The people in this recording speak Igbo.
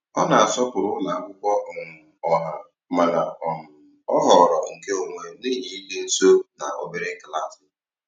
Ọ na-asọpụrụ ụlọ akwụkwọ um ọha mana um ọ họọrọ nkeonwe n'ihi ịdị nso na obere klaasị.